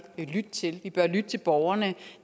lytte til vi bør lytte til borgerne